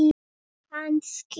Kannski já.